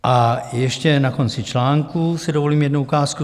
A ještě na konci článku si dovolím jednu ukázku.